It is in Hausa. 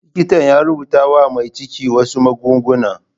Likitan ya rubuta wa mai ciki wasu magunguna.